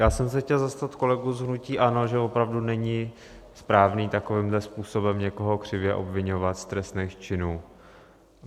Já jsem se chtěl zastat kolegů z hnutí ANO, že opravdu není správné takovýmhle způsobem někoho křivě obviňovat z trestných činů.